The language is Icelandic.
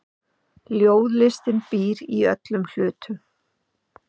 Ljóðlistin býr í öllum hlutum.